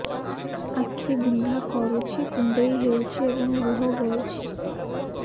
ଆଖି ବିନ୍ଧା କରୁଛି କୁଣ୍ଡେଇ ହେଉଛି ଏବଂ ଲୁହ ଗଳୁଛି